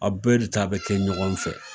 A bɛɛ de ta be kɛ ɲɔgɔn fɛ.